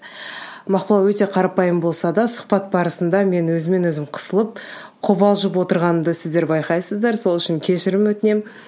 мақпал өте қарапайым болса да сұхбат барысында мен өзімнен өзім қысылып қобалжып отырғанымды сіздер байқайсыздар сол үшін кешірім өтінемін